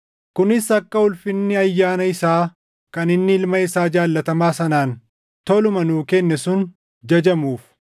kunis akka ulfinni ayyaana isaa kan inni Ilma isaa jaallatamaa sanaan toluma nuu kenne sun jajamuuf.